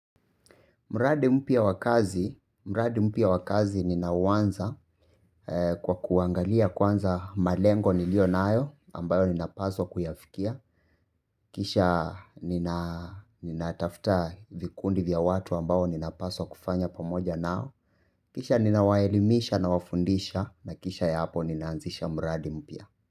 Mradi mpya wa kazi ninauanza kwa kuangalia kwanza malengo nilio nayo ambayo ninapaswa kuyafikia. Kisha ninatafuta vikundi vya watu ambayo ninapaswa kufanya pamoja nao. Kisha ninawaelimisha nawafundisha na kisha ya hapo ninaanzisha mradi mpya.